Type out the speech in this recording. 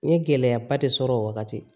N ye gɛlɛyaba de sɔrɔ o wagati